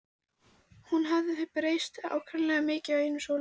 Hún hafði breyst átakanlega mikið á einum sólarhring.